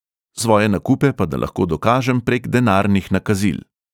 Svoje nakupe pa da lahko dokažem prek denarnih nakazil.